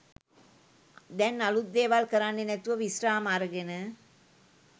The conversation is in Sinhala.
දැන් අලුත් දේවල් කරන්නෙ නැතුව විශ්‍රාම අරගෙන.